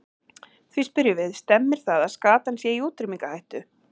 Því spyrjum við, stemmir það að skatan sé í útrýmingarhættu?